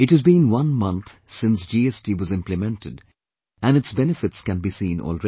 It has been one month since GST was implemented and its benefits can be seen already